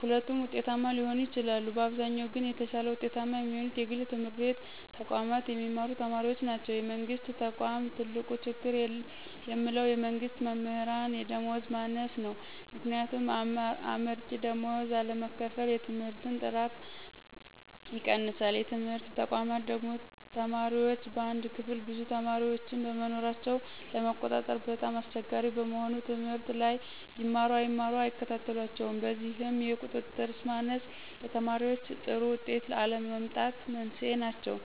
ሁለቱም ውጤታማ ሊሆኑ ይችላሉ። በአብዛኛው ግን የተሻለ ውጤታማ የሚሆኑት የግል ትምህርት ተቋማት የሚማሩ ተማሪዎች ናቸው። የመንግስት ተቆም ትልቁ ችግር የምለው የመንግስት መምህራን የደመወዝ ማነስ ነው። ምክንያቱም አመርቂ ደመወዝ አለመከፈል የትምህርትን ጥራት ይቀንሳል። የትምህርት ተቋማ ደግሞ ተማሪዎች በአንድ ክፍል ብዙ ተማሪዎችን በመኖራቸው ለመቆጣጠር በጣም አስቸጋሪ በመሆኑ ትምህርት ላይ ይማሩ አይማሩ አይከታተሏቸውም። በዚህም የቁጥጥር ማነስ ለተማሪዎይ ጥሩ ውጤት አለመምጣት መንስኤ ናቸው።